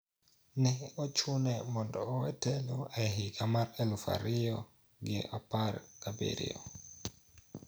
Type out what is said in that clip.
Ne ochune mondo owe telo e higa mar aluf ariyo gi apar gabiryo